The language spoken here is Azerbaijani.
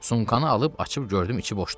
Sumkanı alıb açıb gördüm içi boşdur.